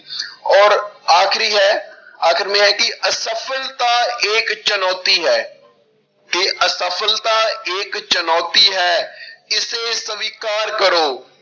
ਔਰ ਆਖਰੀ ਹੈ ਆਖਰ ਮੇ ਹੈ ਕਿ ਅਸਫਲਤਾ ਏਕ ਚੁਣੋਤੀ ਹੈ, ਕਿ ਅਸਫ਼ਲਤਾ ਇੱਕ ਚੁਣੋਤੀ ਹੈ ਇਸੇ ਸਵਿਕਾਰ ਕਰੋ,